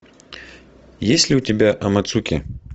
есть ли у тебя амацуки